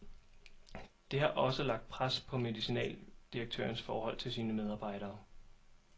Det har også lagt pres på medicinaldirektørens forhold til sine medarbejdere.